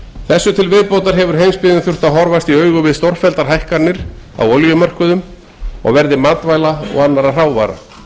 þessu til viðbótar hefur heimsbyggðin þurft að horfast í augu við stórfelldar hækkanir á olíumörkuðum og verði matvæla og annarra hrávara